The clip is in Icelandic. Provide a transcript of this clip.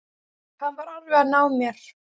Hann var alveg að ná mér